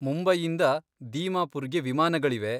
ಮುಂಬೈಯಿಂದ ದೀಮಾಪುರ್ಗೆ ವಿಮಾನಗಳಿವೆ.